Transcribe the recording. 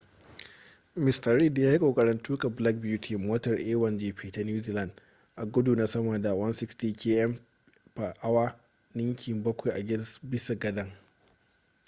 mista reid ya yi kokarin tuka black beauty motar a1gp ta new zealand a gudu na sama da 160km / h ninki bakwai a bisa gadan